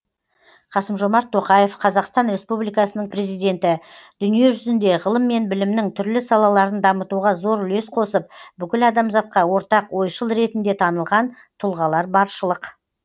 қасым жомарт тоқаев қазақстан республикасының президенті дүние жүзінде ғылым мен білімнің түрлі салаларын дамытуға зор үлес қосып бүкіл адамзатқа ортақ ойшыл ретінде танылған тұлғалар баршылық